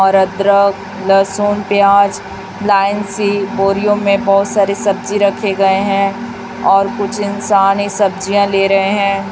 और अदरक लहसुन प्याज लाइन सी बोरियो में बहोत सारी सब्जी रखे गए हैं और कुछ इंसान ये सब्जियां ले रहे हैं।